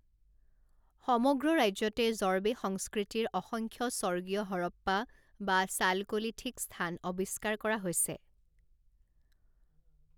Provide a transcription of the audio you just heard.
সমগ্ৰ ৰাজ্যতে জৰ্ৱে সংস্কৃতিৰ অসংখ্য স্বৰ্গীয় হৰপ্পা বা চালকোলিথিক স্থান আৱিষ্কাৰ কৰা হৈছে।